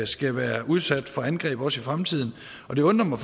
skal være udsat for angreb også i fremtiden og det undrer mig